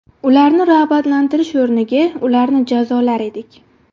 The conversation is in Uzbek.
Ularni rag‘batlantirish o‘rniga ularni jazolar edik.